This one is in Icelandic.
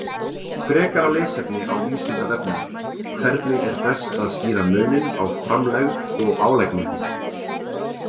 Frekara lesefni á Vísindavefnum: Hvernig er best að skýra muninn á framlegð og álagningu.